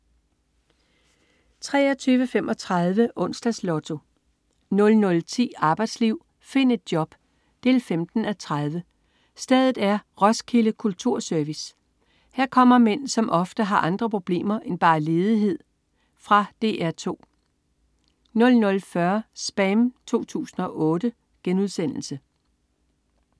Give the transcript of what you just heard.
23.35 Onsdags Lotto 00.10 Arbejdsliv. Find et job 15:30. Stedet er: Roskilde Kulturservice. Her kommer mænd, som ofte har andre problemer end bare ledighed. Fra DR 2 00.40 SPAM 2008*